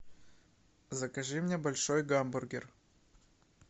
закажи мне большой гамбургер